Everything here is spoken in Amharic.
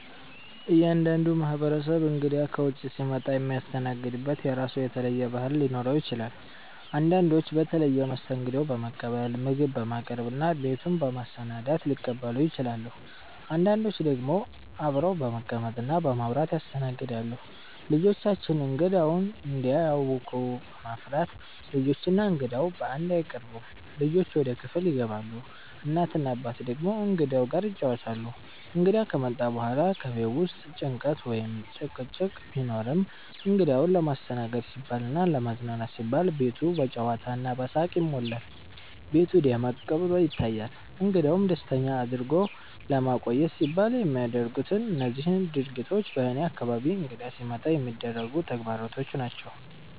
እያንዳንዱ ማህበረሰብ እንግዳ ከውጭ ሲመጣ የሚያስተናግድበት የራሱ የተለየ ባህል ሊኖረው ይችላል። አንዳንዶች በተለየ መስተንግዶ በመቀበል፣ ምግብ በማቅረብ እና ቤቱን በማሰናዳት ሊቀበሉ ይችላሉ። አንዳንዶች ደግሞ አብረው በመቀመጥ እና በማውራት ያስተናግዳሉ። ልጆቻችን እንግዳውን እንዳያውኩ በመፍራት፣ ልጆች እና እንግዳው በአንድ አይቀርቡም፤ ልጆች ወደ ክፍል ይገባሉ፣ እናት እና አባት ደግሞ እንግዳው ጋር ይጫወታሉ። እንግዳ ከመጣ በኋላ በቤት ውስጥ ጭንቀት ወይም ጭቅጭቅ ቢኖርም፣ እንግዳውን ለማስተናገድ ሲባልና ለማዝናናት ሲባል ቤቱ በጨዋታ እና በሳቅ ይሞላል፤ ቤቱ ደመቅ ብሎ ይታያል። እንግዳውን ደስተኛ አድርጎ ለማቆየት ሲባል የሚደረጉት እነዚህ ድርጊቶች በእኔ አካባቢ እንግዳ ሲመጣ የሚደረጉ ተግባሮች ናቸው።